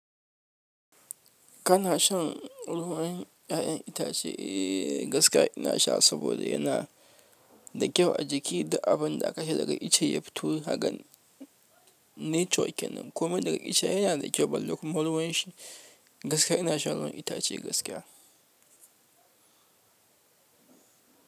Kana shan ruwan 'ya'yan itace? Eh gaskiya ina sha saboda yana da kyau a jiki da abin da aka sha daga ice ya fito hakan 'natural' kenan. Komai daga ice ai yana da kyau. Balle kuma ruwanshi, gaskiya ina shan ruwan itace, gaskiya.